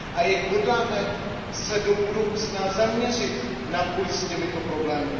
Jak se hodláme do budoucna zaměřit na boj s těmito problémy?